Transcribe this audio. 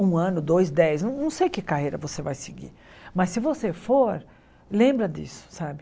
Um ano, dois, dez, não sei que carreira você vai seguir, mas se você for, lembra disso, sabe?